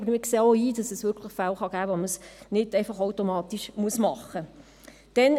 Wir sehen aber auch ein, dass es wirklich Fälle geben kann, bei denen man es nicht einfach automatisch machen muss.